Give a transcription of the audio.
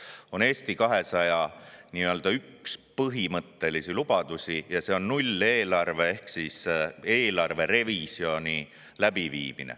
Nimelt, Eesti 200 üks põhimõttelisi lubadusi on nulleelarve ehk eelarverevisjon.